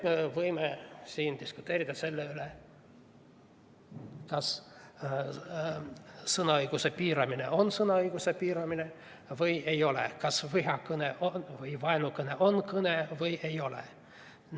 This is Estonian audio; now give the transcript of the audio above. Me võime siin diskuteerida selle üle, kas sõnaõiguse piiramine on sõnaõiguse piiramine või ei ole, kas vihakõne või vaenukõne on kõne või ei ole.